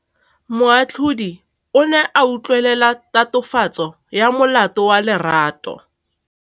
Moatlhodi o ne a utlwelela tatofatsô ya molato wa Lerato.